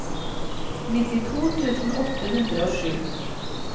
nittito tusen åtte hundre og sju